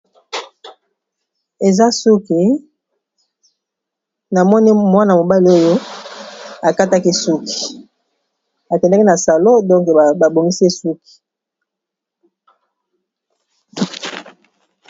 Eza suki na moni mwana mobali oyo akataki suki akendaki na salon donk babongisi ye suki.